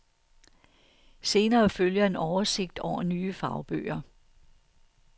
Senere følger en oversigt over nye fagbøger.